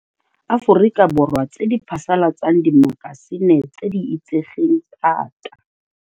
Aforika Borwa tse di phasalatsang dimaka sine tse di itsegeng thata.